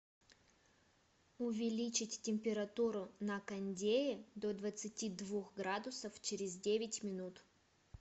увеличить температуру на кондее до двадцати двух градусов через девять минут